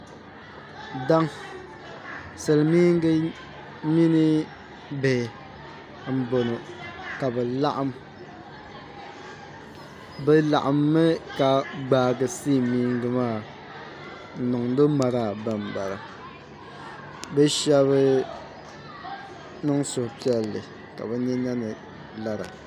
Silimiingi mini bihi n bɔŋɔ ka bɛ laɣim bɛ laɣim mi ka gbaa silimiingi maa n niŋdo maraa ba bala bɛ shɛb niŋ suhupiɛlli ka bɛ ni yiŋɔ lara